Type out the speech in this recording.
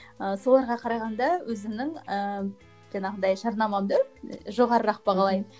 і соларға қарағанда өзімнің ііі жаңағындай жарнамамды жоғарырақ бағалаймын